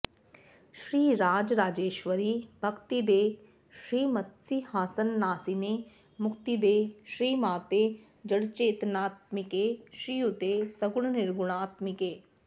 श्रीराज राजेश्वरि भक्तिदे श्रीमत्सिंहासनासीने मुक्तिदे श्रीमाते जडचेतनात्मिके श्रीयुते सगुण निर्गुणात्मिके